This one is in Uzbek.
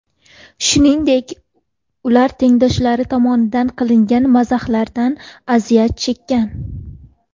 Shuningdek, ular tengdoshlari tomonidan qilingan mazahlardan aziyat chekkan.